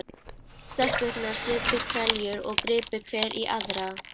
Stelpurnar supu hveljur og gripu hver í aðra.